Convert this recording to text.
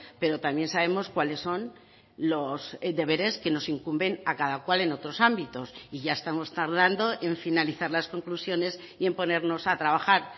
pero también sabemos cuáles son los deberes que nos incumben a cada cual en otros ámbitos y ya estamos tardando en finalizar las conclusiones y en ponernos a trabajar